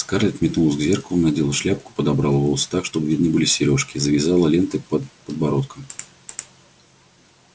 скарлетт метнулась к зеркалу надела шляпку подобрала волосы так чтобы видны были серёжки и завязала ленты под подбородком